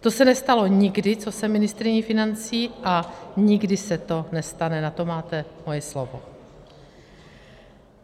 To se nestalo nikdy, co jsem ministryní financí, a nikdy se to nestane, na to máte moje slovo.